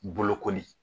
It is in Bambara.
Bolokoli